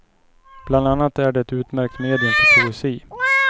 Bland annat är det ett utmärkt medium för poesi.